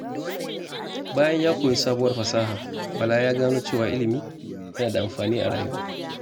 Bayan ya koyi sabuwar fasaha, Bala ya gano cewa ilimi yana da amfani a rayuwa.